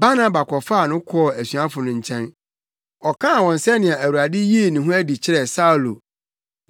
Barnaba kɔfaa no kɔɔ asuafo no nkyɛn. Ɔkaa wɔn sɛnea Awurade yii ne ho adi kyerɛɛ Saulo